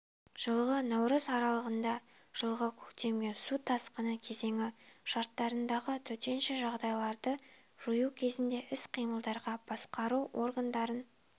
жылғы наурыз аралығында жылғы көктемгі су тасқыны кезеңі шарттарындағы төтенше жағдайларды жою кезіндегі іс-қимылдарға басқару органдарын